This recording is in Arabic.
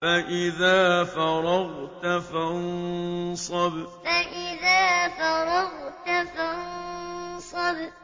فَإِذَا فَرَغْتَ فَانصَبْ فَإِذَا فَرَغْتَ فَانصَبْ